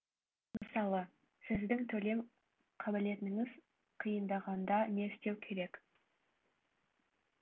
мысалы сіздің төлем қабілетіңіз қиындағанда не істеу керек